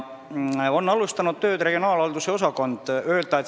Tööd on alustanud regionaalhalduse osakond.